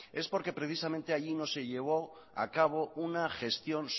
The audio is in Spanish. es porque precisamente allí no se llevó a cabo una gestión